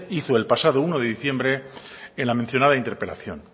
hizo el pasado uno de diciembre en la mencionada interpelación